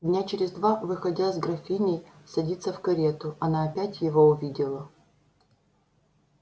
дня через два выходя с графиней садиться в карету она опять его увидела